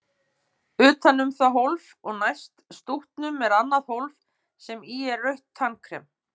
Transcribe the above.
Utan um það hólf og næst stútnum er annað hólf sem í er rautt tannkrem.